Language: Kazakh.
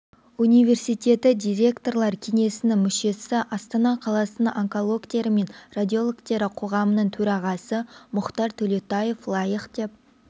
университеті директорлар кеңесінің мүшесі астана қаласының онкологтері мен радиологтері қоғамының төрағасы мұхтар төлеутаев лайық деп